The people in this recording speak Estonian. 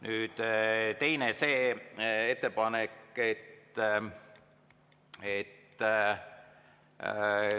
Nüüd teine.